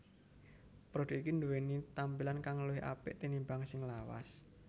Produk iki duweni tampilan kang luwih apik tinimbang sing lawas